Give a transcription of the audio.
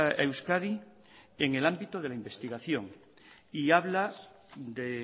a euskadi en el ámbito de la investigación y habla de